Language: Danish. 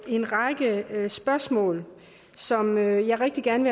en række spørgsmål som jeg rigtig gerne